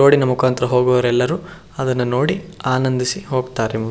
road ನ ಮುಖಂತರ ಹೋಗುವವರೆಲ್ಲರೂ ಅದನ್ನ ನೋಡಿ ಆನಂದಿಸಿ ಹೋಗ್ತಾರೆ --